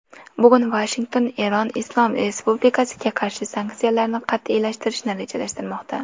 Bugun Vashington Eron islom respublikasiga qarshi sanksiyalarni qat’iylashtirishni rejalashtirmoqda.